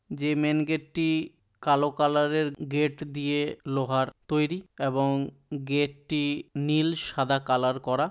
যে main gate টি কালো কালার এর গেট দিয়ে লোহার তৈরি এবং গেটটি নীল সাদা কালার করা।